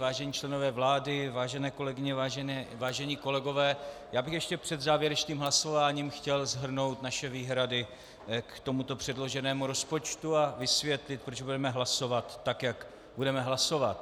Vážení členové vlády, vážené kolegyně, vážení kolegové, já bych ještě před závěrečným hlasováním chtěl shrnout naše výhrady k tomuto předloženému rozpočtu a vysvětlit, proč budeme hlasovat, tak jak budeme hlasovat.